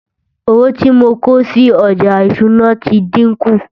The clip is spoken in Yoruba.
owó tí mọ kòsí ọja ìṣúná tí dinkun